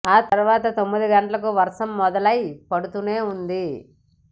ఆ తర్వాత తొమ్మిది గంటలకు వర్షం మొదలై పడుతూనే ఉంది